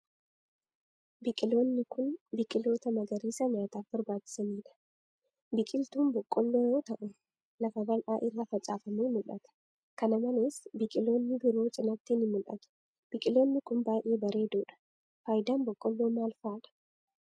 Biqiloonni kun, biqiloota magariisaa nyaataaf barbaachisanii dha. Biqiltuun boqqoolloo yoo ta'u, lafa bal'aa irra faccfamee mul'ata. Kana malees ,biqiloonni biroo cinaatti ni mul'atu. Biqiloonni kun baay'ee bareedoo dha. Faayidaan boqqoolloo maal faa dha?